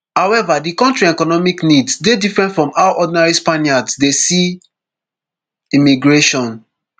however di kontri economic needs dey different from how ordinary spaniards dey see immigration